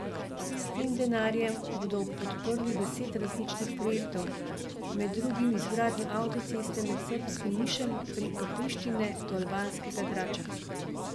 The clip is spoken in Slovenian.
S tem denarjem bodo podprli deset različnih projektov, med drugim izgradnjo avtocesto med srbskim Nišem preko Prištine do albanskega Drača.